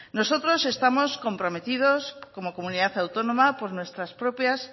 nosotros estamos comprometidos como comunidad autónoma por nuestras propias